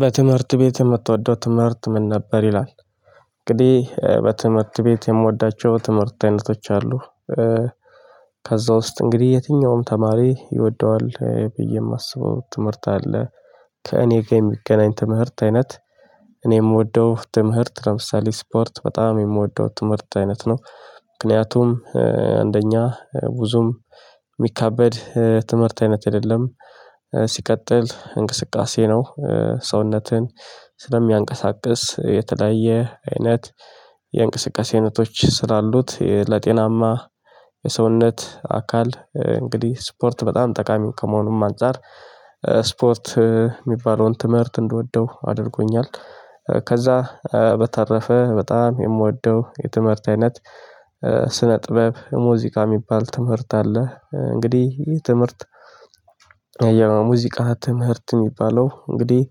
በትምህርት ቤት የምትወደው ትምህርት ምን ነበር ይላል? እንግዲህ በትምህርት ቤት የምወዳቸው ትምህርት አይነቶች አሉ። ከዛ ውስጥ እንግዲህ የትኛውም ተማሪ ይወደዋል ብዬ የማስበው ትምህርት አለ ከእኔ ጋር የሚገናኝ ትምህርት አይነት። እኔ የምወደው ትምህርት ለምሳሌ ስፖርት በጣም የምወደው ትምህርት አይነት ነው። ምክንያቱም አንደኛ ብዙም ሚከበድ ትምህርት አይነት አይደለም። ሲቀጥል እንቅስቃሴ ነው። ሰውነትን ስለሚያንቀሳቅስ የተለያየ አይነት የእንቅስቃሴ አይነቶች ስላሉት ለጤናማ የሰውነት አካል እንግዲህ ስፖርት በጣም ጠቃሚ ከመሆኑም አንፃር። ስፖርት የሚባለውን ትምህርት እንደወደው አድርጎኛል። ከዛ በተረፈ በጣም የምወደው የትምህርት አይነት ስነ ጥበብ ሙዚቃ ሚባል ትምህርት አለ። እንግዲህ ይህ ትምህርት የሙዚቃ ትምህርት የሚባለው እንግዲህ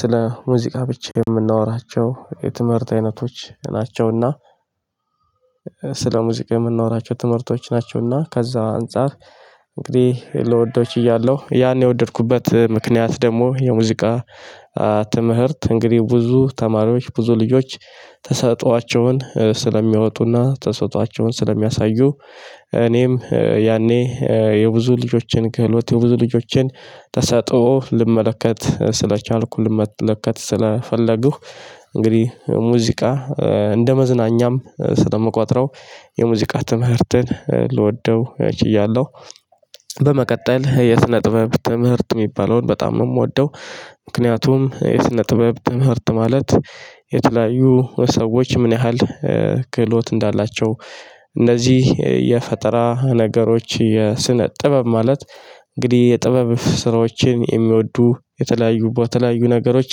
ስለ ሙዚቃ ብቻ የምናወራቸው የትምህርት አይነቶች ናቸውና። ስለ ሙዚቃ የምናወረቸው ትምህርቶች ናቸውና ከዛ አንፃር እንግዲህ ልወደው እችላለሁ። ያን የወደድኩበት ምክንያት ደግሞ የሙዚቃ ትምህርት እንግዲህ ብዙ ተማሪዎች ብዙ ልጆች ተሰጥኦአቸውን ስለሚያወጡና ተሰጥኦአቸውን ስለሚያሳዩ። እኔም ያኔ የብዙ ልጆችን ክህሎት የብዙ ልጆችን ተሰጥኦ ልመለከት ስለቻልኩ ልመለከት ስለፈለጉህ እንግዲህ ሙዚቃ እንደመዝናኛም ስለምቋጥረው የሙዚቃ ትምህርትን ልወደው እችላለሁ። በመቀጠል የስነ ጥበብ ትምህርት ሚባለውን በጣም ነው የምወደው። ምክንያቱም የስነ ጥበብ ትምህርት ማለት የተለያዩ ሰዎች ምን ያህል ክህሎት እንዳላቸው እነዚህ የፈጠራ ነገሮች የስነ ጥበብ ማለት እንግዲህ የጥበብ ስራዎችን የሚወዱ የተለያዩ ቦታ የተለያዩ ነገሮች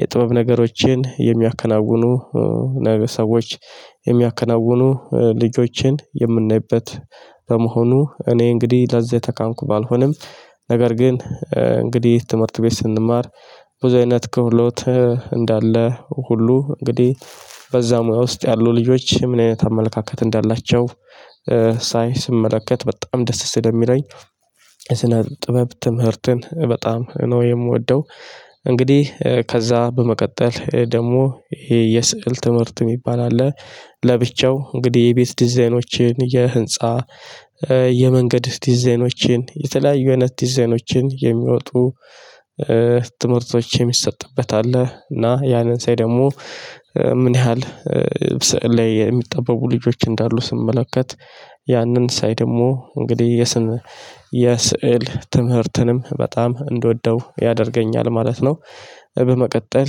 የጥበብ ነገሮችን የሚያከናውኑ ሰዎች የሚያከናውኑ ልጆቼን የምናይበት። በመሆኑ እኔ እንግዲህ ለዚያ ተካንኩ ባልሆንም ነገር ግን እንግዲህ ትምህርት ቤት ስንማር ብዙ አይነት ክህሉት እንዳለ ሁሉ እንግዲህ በዛ ሙያ ውስጥ ያሉ ልጆች ምን አይነት አመለካከት እንዳላቸው ሳይ ስመለከት በጣም ደስ ስለሚለኝ ስነ ጥበብ ትምህርትን በጣም ነው የምወደው። እንግዲህ ከዛ በመቀጠል ደግሞ የስዕል ትምህርት የሚባል አለ። ለብቻው እንግዲህ የቤት ዲዛይኖችን የህንፃ የመንገድ ዲዛይኖችን የተለያዩ አይነት ዲዛይኖችን የሚወጡ ትምህርቶች የሚሰጥበት አለ እና ያንን ሳይ ደግሞ ምን ያህል ስዕል ላይ የሚጠበቡ ልጆች እንዳሉ ስመለከት ያንን ሳይ ደግሞ እንግዲህ የስዕል ትምህርትንም በጣም እንደወደው ያደርገኛል ማለት ነው። በመቀጠል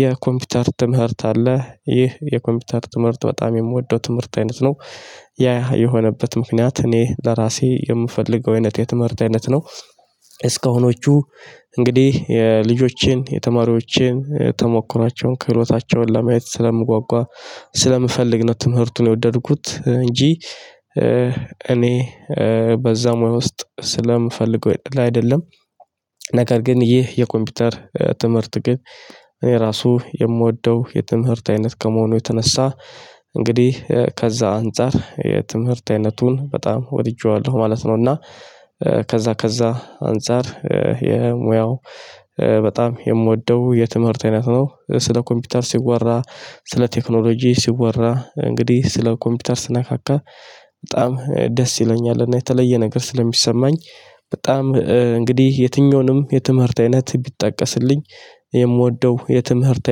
የኮምፒውተር ትምህርት አለ ይህ የኮምፒውተር ትምህርት በጣም የምወደው ትምህርት አይነት ነው። ያ የሆነበት ምክንያት እኔ ለራሴ የምፈልገው አይነት የትምህርት አይነት ነው። እስካሁኖቹ እንግዲህ የልጆቼን የተማሪዎቼን ተሞክሯቸውን ክህሎታቸውን ለማየት ስለምጓጓ ስለምፈልግ ነው ትምህርቱን የወደድኩት እንጂ። እኔ በዛ ሙያ ውስጥ ስለምፈልገው አይደለም። ነገር ግን ይህ የኮምፒውተር ትምህርት ግን እኔ ራሱ የምወደው የትምህርት አይነት ከመሆኑ የተነሳ እንግዲህ ከዛ አንፃር የትምህርት አይነቱን በጣም ወድጄዋለሁ ማለት ነው። እና ከዛ ከዛ አንፃር የሙያው በጣም የምወደው የትምህርት አይነት ነው ስለ ኮምፒውተር ሲወራ ስለ ቴክኖሎጂ ሲወራ እንግዲህ ስለ ኮምፒውተር ስነካካ በጣም ደስ ይለኛልና። የተለየ ነገር ስለሚሰማኝ በጣም እንግዲህ የትኞወንም የትምህርት አይነት ቢጠቀስልኝ የምወደው የትምህርት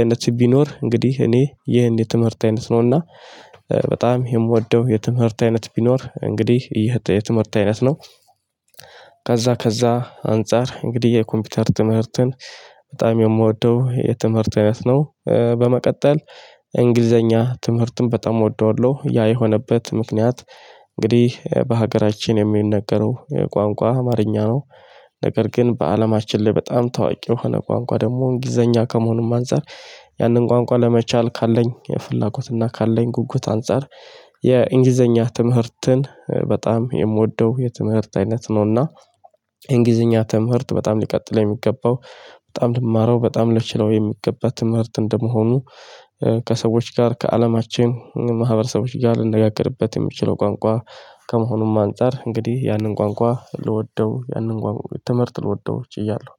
አይነት ቢኖር እንግዲህ እኔ ይህን የትምህርት አይነት ነውና። በጣም የምወደው የትምህርት አይነት ቢኖር እንግዲህ የትምህርት አይነት ነው። ከዛ ከዛ አንፃር እንግዲህ የኮምፒውተር ትምህርትን በጣም የምወደው የትምህርት አይነት ነው። በመቀጠል እንግሊዘኛ ትምህርትን በጣም እወደዋለሁ ያ የሆነበት ምክንያት እንግዲህ በሀገራችን የሚነገረው ቋንቋ አማርኛ ነው። ነገር ግን በአለማችን ላይ በጣም ታዋቂ የሆነ ቋንቋ ደግሞ እንግሊዘኛ ከመሆኑም አንፃር ያንን ቋንቋ ለመቻል ካለኝ ፍላጎት እና ካለኝ ጉጉት አንፃር የእንግሊዘኛ ትምህርትን በጣም የምወደው የትምህርት አይነት ነውና። የእንግሊዘኛ ትምህርት በጣም ሊቀጥል የሚገባው በጣም ልማረው በጣም ልችለው የሚገባ ትምህርት እንደመሆኑ። ከሰዎች ጋር ከአለማችን ማህበረሰቦች ጋር ልንነጋገርበት የምችለው ቋንቋ ከመሆኑም አንፃር እንግዲህ ያንን ቋንቋ ልወደው ያንን ቋንቋ ትምህርት ልወደው እችላለሁ